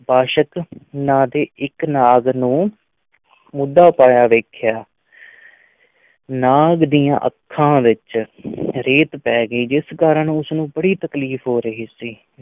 ਬਾਸ਼ਕ ਨਾਂ ਦੇ ਇੱਕ ਨਾਗ ਨੂੰ ਮੂਧਾ ਪਿਆ ਵੇਖਿਆ ਨਾਗ ਦੀਆਂ ਅੱਖਾਂ ਵਿੱਚ ਰੇਤ ਪੈ ਗਈ ਸੀ ਜਿਸ ਕਾਰਨ ਉਸ ਨੂੰ ਬੜੀ ਤਕਲੀਫ਼ ਹੋ ਰਹੀ ਸੀ।